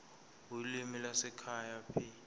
ulimi lwasekhaya p